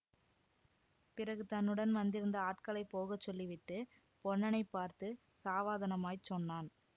பிறகு தன்னுடன் வந்திருந்த ஆட்களைப் போக சொல்லி விட்டு பொன்னனைப் பார்த்து சாவதானமாய்ச் சொன்னான்